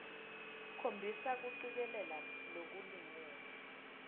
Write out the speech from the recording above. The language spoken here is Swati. khombisa kucikelela lokulingene